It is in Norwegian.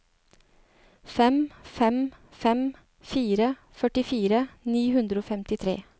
fem fem fem fire førtifire ni hundre og femtitre